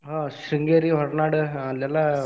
ಆಹ್ Sringeri, Horanadu ಅಲ್ಲಿ ಎಲ್ಲಾ.